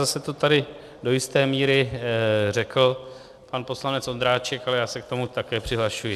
Zase to tady do jisté míry řekl pan poslanec Ondráček, ale já se k tomu také přihlašuji.